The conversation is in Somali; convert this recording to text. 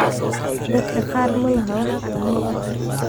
Dadka qaar ma laha wax calaamado ah.